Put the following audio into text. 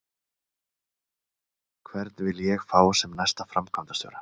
Hvern vil ég fá sem næsta framkvæmdastjóra?